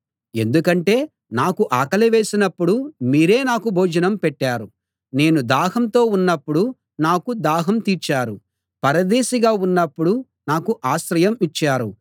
ఎందుకంటే నాకు ఆకలి వేసినప్పుడు మీరే నాకు భోజనం పెట్టారు నేను దాహంతో ఉన్నప్పుడు నాకు దాహం తీర్చారు పరదేశిగా ఉన్నప్పుడు నాకు ఆశ్రయం ఇచ్చారు